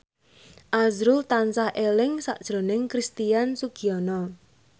azrul tansah eling sakjroning Christian Sugiono